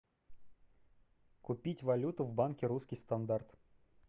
купить валюту в банке русский стандарт